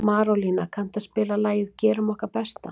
Marólína, kanntu að spila lagið „Gerum okkar besta“?